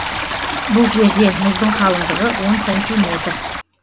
бұл жерде мұздың қалыңдығы он сантиметр